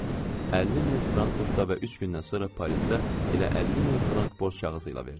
50 min Frankfurtda və üç gündən sonra Parisdə elə 50 min borc kağızı ilə verdim.